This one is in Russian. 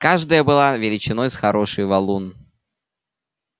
каждая была величиной с хороший валун